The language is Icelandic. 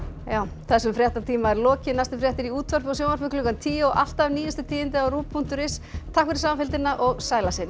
þessum fréttatíma er lokið næstu fréttir eru í útvarpi og sjónvarpi klukkan tíu og alltaf nýjustu tíðindi á punktur is takk fyrir samfylgdina og sæl að sinni